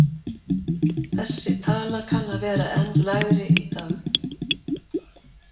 Þessi tala kanna að vera enn lægri í dag.